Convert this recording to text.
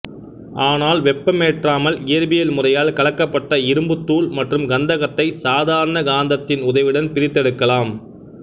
ஆனால் வெப்பமேற்றாமல் இயற்பியல் முறையால் கலக்கப்பட்ட இரும்புத்தூள் மற்றும் கந்தகத்தை சாதாரண காந்தத்தின் உதவியுடன் பிரித்தெடுக்கலாம்